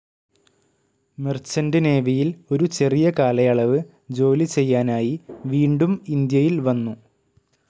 Merchant നേവിയിൽ ഒരു ചെറിയ കാലയളവ് ജോലി ചെയ്യാനായി വീണ്ടും ഇന്ത്യയിൽ വന്നു.